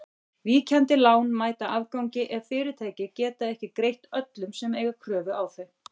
Víkjandi lán mæta afgangi ef fyrirtæki geta ekki greitt öllum sem eiga kröfu á þau.